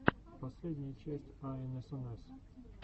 последняя часть аэнэсэнэс